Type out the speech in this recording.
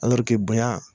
bonya